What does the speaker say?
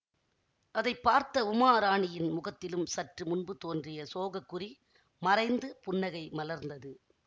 அதை பார்த்த உமாராணியின் முகத்திலும் சற்று முன்பு தோன்றிய சோகக் குறி மறைந்து புன்னகை மலர்ந்தது